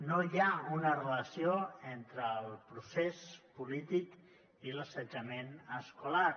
no hi ha una relació entre el procés polític i l’assetjament escolar